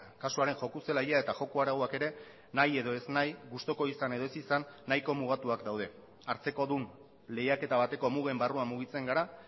kasuaren joko zelaia eta joko arauak ere nahi edo ez nahi gustuko izan edo ez izan nahiko mugatuak daude hartzekodun lehiaketa bateko mugen barruan mugitzen gara